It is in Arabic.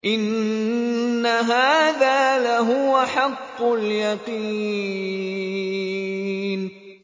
إِنَّ هَٰذَا لَهُوَ حَقُّ الْيَقِينِ